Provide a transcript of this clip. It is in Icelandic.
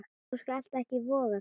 Þú skalt ekki voga þér!